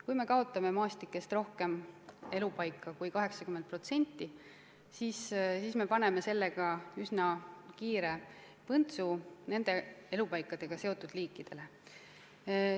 Kui me kaotame maastikes rohkem elupaiku kui 80%, siis paneme üsna kiire põntsu nende elupaikadega seotud liikidele.